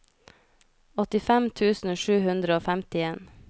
åttifem tusen sju hundre og femtien